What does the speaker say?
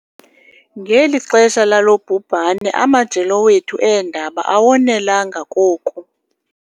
Ngeli xesha lalo bhubhane, amajelo wethu eendaba awonelanga koku